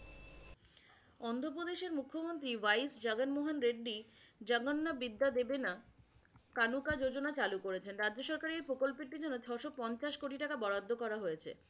অন্ধ্রপ্রদেশের মুখ্যমন্ত্রী জগনমোহন রেড্ডি জগন্নাবিদ্যাদেবেনা কানোকাযোজনা চালু করেছেন। রাজ্যসহকারে এই প্রকল্পটির জন্য ছয়শো পঞ্চাশ কোটি টাকা বরাদ্দ করা হয়েছে।